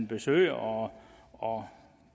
besøger og